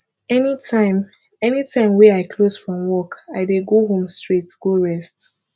anytime anytime wey i close from work i dey go home straight go rest